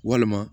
Walima